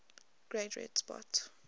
great red spot